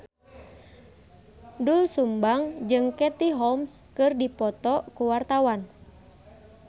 Doel Sumbang jeung Katie Holmes keur dipoto ku wartawan